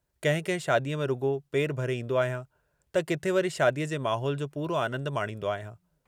कंहिं कंहिं शादीअ में रुॻो पेर भरे ईंदो आहियां त किथे वरी शादीअ जे माहोल जो पूरो आनन्द माणींदो आहियां।